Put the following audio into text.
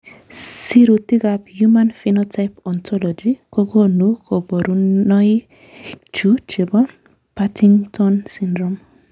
Sirutikab Human Phenotype Ontology kokonu koborunoikchu chebo Partington syndrome.